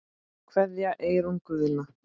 Kveðja, Eyrún Guðna.